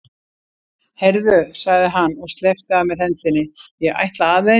Heyrðu, sagði hann og sleppti af mér hendinni, ég ætla aðeins.